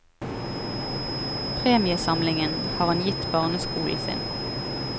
Premiesamlingen har han gitt barneskolen sin.